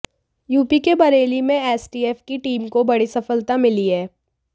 UP के बरेली में STF की टीम को बड़ी सफलता मिली है